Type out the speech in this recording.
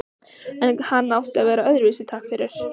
En hann átti að vera öðruvísi, takk fyrir.